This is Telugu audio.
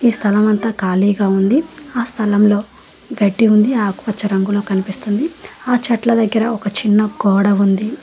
ఈ స్థలం అంతా కాళీగా ఉంది ఆ స్థలంలో గడ్డి ఉంది ఆకుపచ్చ రంగులో కనిపిస్తుంది ఆ చిట్ల దగ్గర ఒక చిన్న గోడ ఉంది.